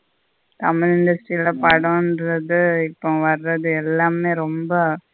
தமிழ்ல சில படன்றது இப்போ வரது எல்லாமே ரொம்ப.